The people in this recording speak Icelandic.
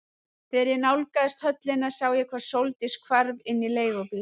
Þegar ég nálgaðist höllina sá ég hvar Sóldís hvarf inn í leigubíl.